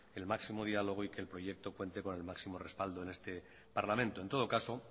el máximo diálogo y que el proyecto cuente con el máximo respaldo en este parlamento en todo caso